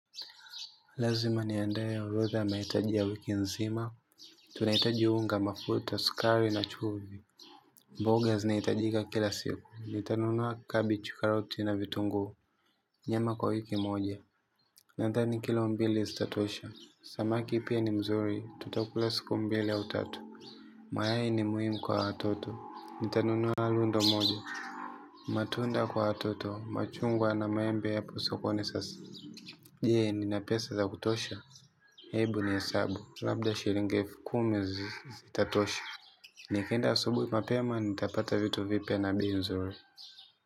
Lazima niandae orodha ya mahitaj ya wiki nzima, tunahitaji unga mafuta, sukari na chumvi. Mboga zinahitajika kila siku, nitanunua cabbage, karoti na vitunguu. Nyama kwa wiki moja, na thani kilombili zitatosha. Samaki pia ni mzuri, tutakula siku mbili au tatu. Mayai ni muhimu kwa watoto, ni tanunua lundo moja. Matunda kwa watoto, machungwa na maembe yapaswa kuwa ni sasa. Jee, nina pesa za kutosha? Hebu nihesabu, labda shiringi helfu kumi zitatosha. Nikienda asubuhi mapema nitapata vitu vipya na bei nzuri.